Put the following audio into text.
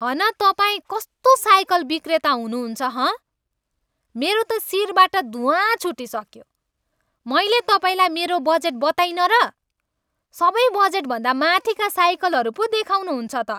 हन तपाईँ कस्तो साइकल विक्रेता हुनुहुन्छ, हँ? मेरो त शिरबाट धुवाँ छुटिसक्यो। मैले तपाईँलाई मेरो बजेट बताइनँ र? सबै बजेटभन्दा माथिका साइकलहरू पो देखाउनुहुन्छ त?